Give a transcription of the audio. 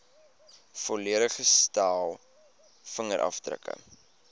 volledige stel vingerafdrukke